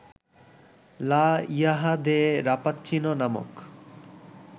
লা ইহা দে রাপ্পাচিনো নামক